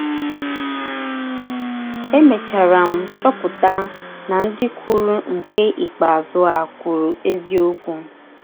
Emechara m chọpụta na ndị kwụrụ nke ikpeazụ a kwụrụ eziọkwụ.